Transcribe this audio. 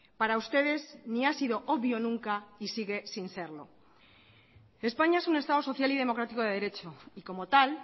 para ustedes ni ha sido obvio nunca y sigue sin serlo españa es un estado social y democrático de derecho y como tal